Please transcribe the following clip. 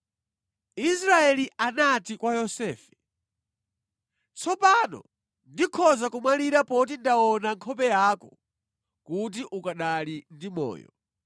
Israeli anati kwa Yosefe, “Tsopano ndikhoza kumwalira poti ndaona nkhope yako kuti ukanali ndi moyo.”